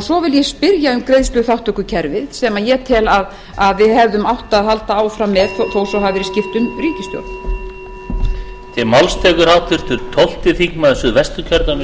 svo vil ég spyrja um greiðsluþátttökukerfið sem ég tel að við hefðum átt að halda áfram með þó að skipt hafi verið um ríkisstjórn